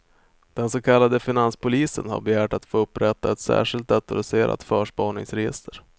Den så kallade finanspolisen har begärt att få upprätta ett särskilt datoriserat förspaningsregister.